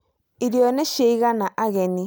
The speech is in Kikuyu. irio nĩ cia igana ageni